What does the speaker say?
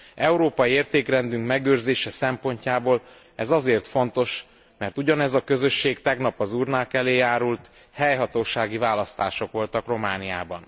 Európai értékrendünk megőrzése szempontjából ez azért fontos, mert ugyanez a közösség tegnap az urnák elé járult, helyhatósági választások voltak Romániában.